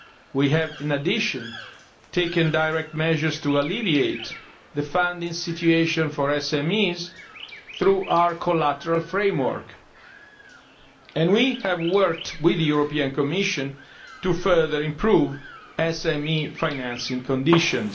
We have, in addition, taken direct measures to alleviate the funding situation for SMEs through our collateral framework, and we have worked with the European Commission to further improve SME financing conditions.